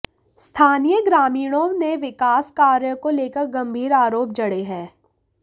स्थानीय ग्रामीणों ने विकास कार्यों को लेकर गंभीर आरोप जडे़ है